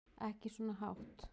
Ekki svona hátt.